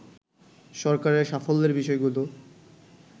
সরকারের সাফল্যের বিষয়গুলো